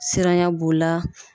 Siranya b'o la